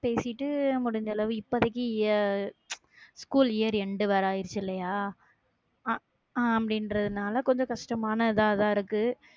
பேசிட்டு, முடிஞ்ச அளவு இப்போதைக்கு ய~ school year end வேற ஆயிடுச்சு இல்லையா? அஹ் ஹம் அப்படின்றதுனால கொஞ்சம் கஷ்டமான இதாதான் இருக்கு